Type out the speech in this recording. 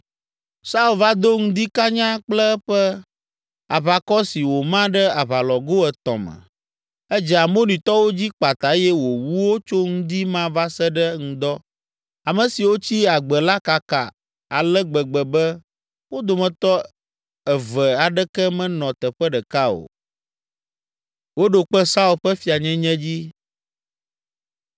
Saul va do ŋdi kanya kple eƒe aʋakɔ si wòma ɖe aʋalɔgo etɔ̃ me. Edze Amonitɔwo dzi kpata eye wòwu wo tso ŋdi ma va se ɖe ŋdɔ. Ame siwo tsi agbe la kaka ale gbegbe be wo dometɔ eve aɖeke menɔ teƒe ɖeka o.